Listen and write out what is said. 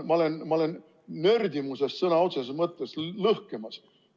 Ma olen nördimusest sõna otseses mõttes lõhkemas.